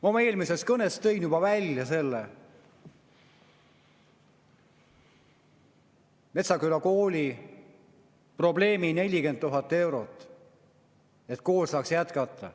Ma oma eelmises kõnes tõin juba välja selle Metsküla kooli probleemi – 40 000 eurot, et kool saaks jätkata.